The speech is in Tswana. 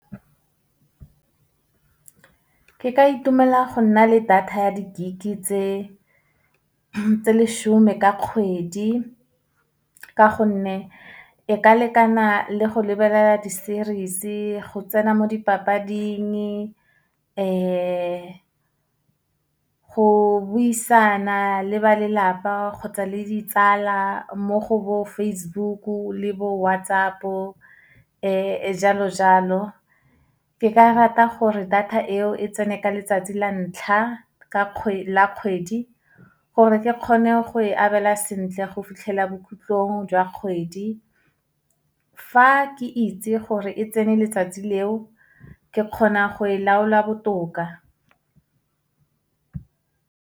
Ke ka itumela go nna le data ya di-gig-e tse lesome ka kgwedi, ka gonne e ka lekana le go lebelela di-series-e, go tsena mo dipapading, go buisana le ba lelapa kgotsa le ditsala mo go bo Facebook-o le bo WhatsApp-o jalo-jalo. Ke ka rata gore data eo e tsene ka letsatsi la ntlha, la kgwedi, gore ke kgone go e abela sentle, go fitlhela bokhutlong jwa kgwedi. Fa ke itse gore e tsene letsatsi leo, ke kgona go e laola botoka.